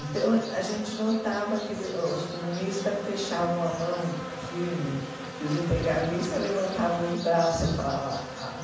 Então, a gente notava que eles os comunistas fechavam a mão firme e os integralistas levantavam os braços e falavam,